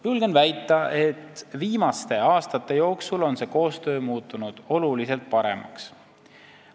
Julgen väita, et viimaste aastate jooksul on see koostöö muutunud tunduvalt paremaks.